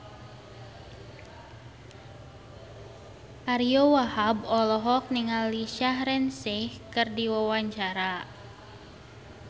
Ariyo Wahab olohok ningali Shaheer Sheikh keur diwawancara